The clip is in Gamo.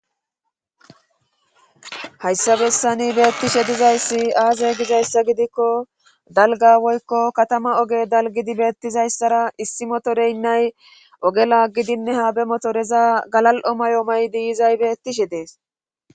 Hayssa bessani beettishe dizayssi aaze gizayssa gidikko dalga woykko katama oge dalgidi beettizayssara issi motoreynnay ogela gidinne ha be motoreza galal'o may'o may'di izay beettishe dees.